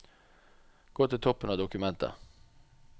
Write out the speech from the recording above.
Gå til toppen av dokumentet